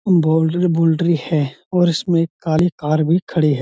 Boundary है और इसमें काली कार भी खड़ी है।